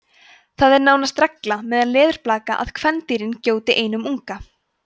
það er nánast regla meðal leðurblaka að kvendýrin gjóti einum unga